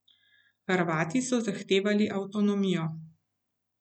Hrvati so zahtevali avtonomijo.